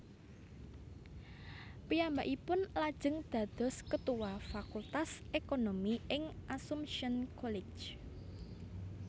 Piyambakipun lajeng dados ketua Fakultas Ekonomi ing Assumption College